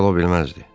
Şübhə ola bilməzdi.